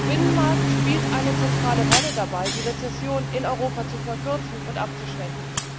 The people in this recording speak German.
Der Binnenmarkt spielt eine zentrale Rolle dabei, die Rezession in Europa zu verkürzen und abzuschwächen.